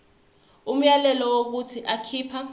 umyalelo wokuthi akhipha